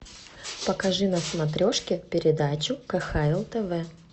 покажи на смотрешке передачу кхл тв